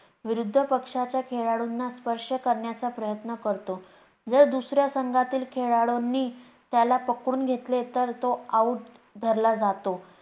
विरुद्ध पक्षाच्या खेळाडूंना स्पर्श करण्याचा प्रयत्न करतो. जर दुसऱ्या संघातील खेळाडूंनी त्याला पकडून घेतले तर तो Out ठरला जातो